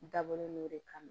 N dabɔlen no de kama